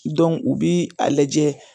u bi a lajɛ